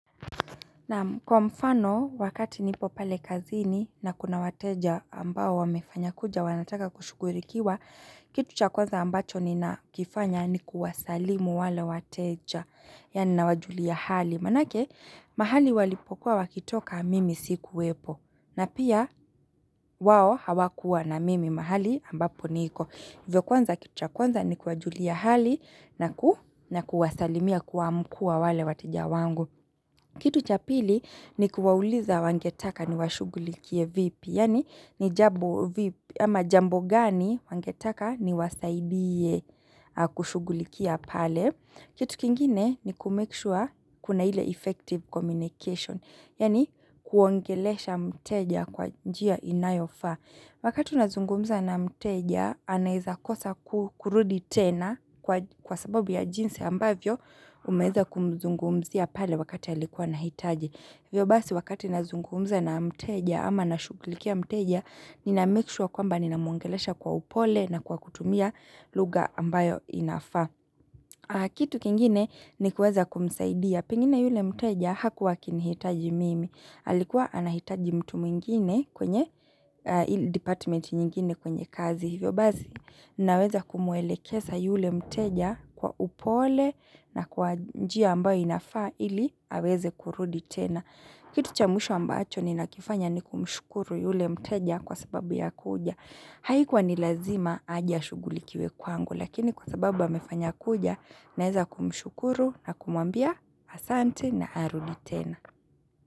Naam kwa mfano, wakati nipo pale kazini na kuna wateja ambao wamefanya kuja wanataka kushugurikiwa, kitu cha kwanza ambacho nina kifanya ni kuwasalimu wale wateja. Yani na wajulia hali. Manake, mahali walipokuwa wakitoka mimi siku wepo. Na pia, wao hawakuwa na mimi mahali ambapo niko. Vyo kwanza kitu cha kwanza ni kuwasalimu wale wateja wangu. Kitu cha pili ni kuwauliza wangetaka ni washugulikie vipi, yani ni jambo vipi ama jambo gani wangetaka ni wasaidie kushugulikia pale. Kitu kingine ni kumekishua kuna hile effective communication, yani kuongelesha mteja kwa njia inayofa. Wakati unazungumza na mteja, anahiza kosa kukurudi tena kwa sababu ya jinse ambavyo umeza kumzungumzia pale wakati alikuwa nahitaji. Vyo basi wakati unazungumza na mteja ama na shukulikia mteja, ninamikishwa kwamba ninamungelesha kwa upole na kwa kutumia luga ambayo inafa. Kitu kingine ni kuweza kumsaidia. Pengine yule mteja hakuwa kinihitaji mimi. Alikuwa anahitaji mtu mwingine kwenye department nyingine kwenye kazi hivyo. Bazi naweza kumwele kesa yule mteja kwa upole na kwa njia ambayo inafaa ili aweze kurudi tena. Kitu cha mwisho ambacho ni nakifanya ni kumshukuru yule mteja kwa sababu ya kuja. Haikuwa ni lazima ajashugulikiwe kwangu lakini kwa sababu wa mefanya kuja naeza kumshukuru na kumwambia asante na arudi tena.